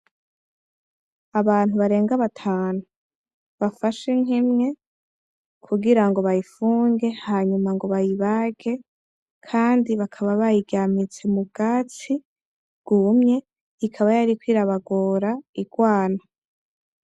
Abantu barenga batanu bafashe inka imwe kugira ngo bayifunge, hanyuma ngo bayibage, kandi bakaba bayiryamitse mu bwatsi bwumye ikaba yariko irabagora igwana.